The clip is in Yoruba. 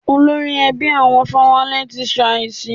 Olórí ẹbí àwọn Fáwálé ti ṣàísí.